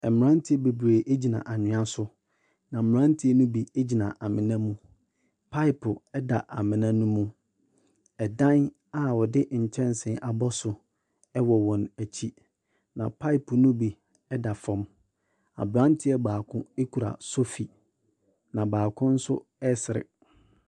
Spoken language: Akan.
Mberantiɛ bebree bi egyina anwia so na mberantiɛ ne bi egyina amona mu. Paep ɛda emona ne mu, ɛdan a wɔde nkyɛnse abɔ so ɛwɔ wɔn ekyi na paep ne bi ɛda fɔm. Aberanteɛ baako ekura sofi na baako nso ɛɛsere.